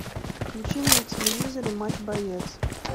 включи на телевизоре матч боец